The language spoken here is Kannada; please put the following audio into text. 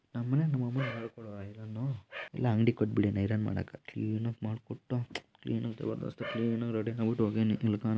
ನಮ್ಮಲ್ಲಿ ನಮ್ಮ ಅಮ್ಮನೇ ಮಾಡಿಕೊಡುವುದು ಐರನ್ ಇಲ್ಲ ಅಂಗಡಿಗೆ ಕೊಟ್ಟುಬಿಟ್ಟಿದ್ದಾನೆ ಐರನ್ ಮಾಡಕ್ಕೆ ಎಂತುಕ್ ಮಾಡ್ಕೊಟ್ನೊ ಎಂತುಕೋ ಏನೋ ರೆಡಿ ಹೌದು ಅಂಗೆ--